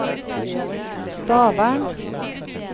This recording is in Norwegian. Stavern